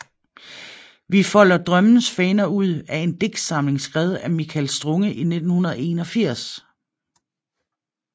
Vi folder drømmens faner ud er en digtsamling skrevet af Michael Strunge i 1981